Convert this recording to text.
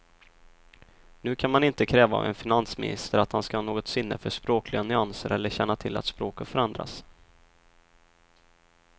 Nu kan man inte kräva av en finansminister att han ska ha något sinne för språkliga nyanser eller känna till att språket förändrats.